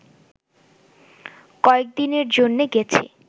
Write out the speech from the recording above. কয়েকদিনের জন্যে গেছি